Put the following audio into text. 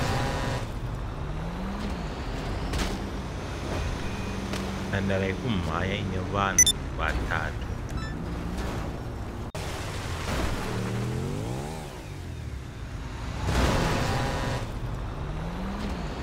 Nhandare yekumhanya ine vanhu vatatu.